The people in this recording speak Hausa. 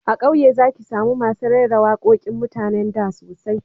A kauye za ki samu masu raira waƙoƙin mutanen da sosai